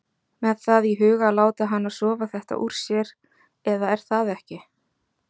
Með það í huga að láta hana sofa þetta úr sér. eða er það ekki????